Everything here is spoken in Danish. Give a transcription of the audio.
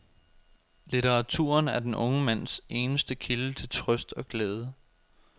Litteraturen er den unge mands eneste kilde til trøst og glæde.